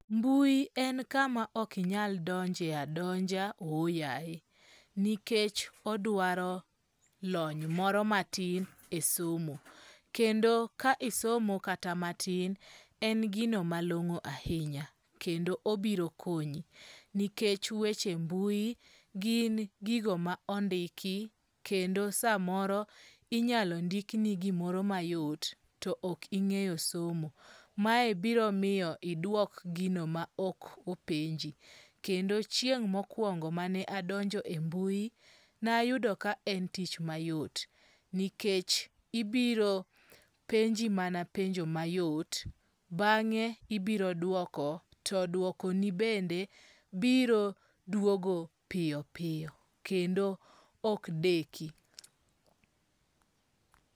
Mbui en kama ok inyal donje adonja ohoyaye nikech odwaro lony moro matin e somo. Kendo ka isomo kata matin en gino malong'o ahinya kendo obiro konyi nikech weche mbui gin gigo ma ondiki kendo samoro inyalo ndik ni gimoro ma yot to ok ing'eyo somo. Mae biro miyo idwok gino ma ok openji kendo chieng' mokwongo mane adonje mbui nayudo ka en tich mayot nikech ibiro mana penji penjo mayot bang'e ibiro duoko to duoko ni bende biro duogo piyo piyo kendo ok deki.